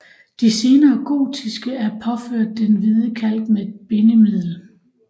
De senere gotiske er påført den hvide kalk med et bindemiddel